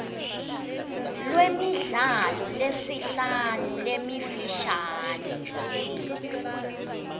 lwemidlalo lesihlanu lemifishane